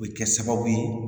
O bɛ kɛ sababu ye